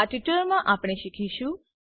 આ ટ્યુટોરીયલમા આપણે શીખીશું